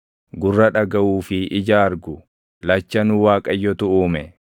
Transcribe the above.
Gurra dhagaʼuu fi ija argu, lachanuu Waaqayyotu uume.